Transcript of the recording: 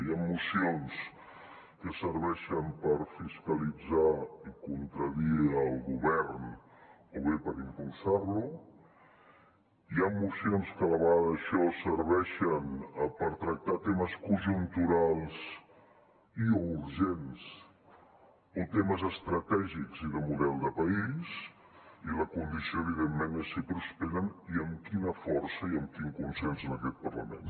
hi han mocions que serveixen per fiscalitzar i contradir el govern o bé per impulsar lo hi han mocions que a la vegada d’això serveixen per tractar temes conjunturals i o urgents o temes estratègics i de model de país i la condició evidentment és si prosperen i amb quina força i amb quin consens en aquest parlament